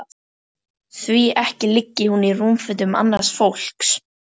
Því ekki liggi hún í rúmfötum annars fólks.